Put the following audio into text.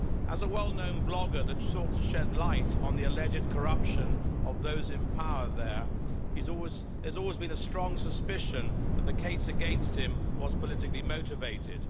As a well known blogger that sought to shed light on the alleged corruption of those in power there, there's always been a strong suspicion that the case against him was politically motivated.